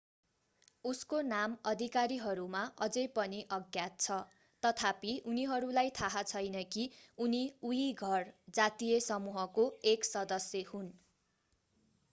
उसको नाम अधिकारीहरूमा अझै पनि अज्ञात छ तथापि उनीहरूलाई थाहा छैन कि उनी उईघुर जातीय समूहको एक सदस्य हुन्